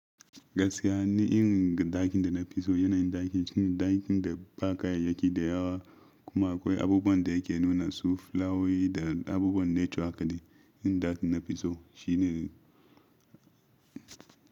Gaskiya ni in dakin da na fi so yana yin dakin shine dakin da ba kayayyaki da yawa kuma akwai abubuwan da ke nuna su, fulawowi da abubuwan nature haka dai. Irin dakin na fi so shine.